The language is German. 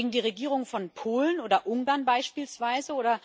Gegen die Regierung von Polen oder Ungarn beispielsweise?